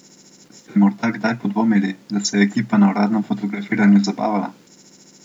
Ste morda kdaj podvomili, da se je ekipa na uradnem fotografiranju zabavala?